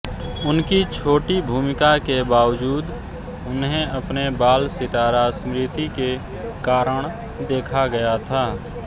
उनकी छोटी भूमिका के बावजूद उन्हें अपने बाल सितारा स्मृति के कारण देखा गया था